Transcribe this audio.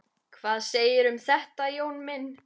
Hvað segirðu um þetta, Jón minn?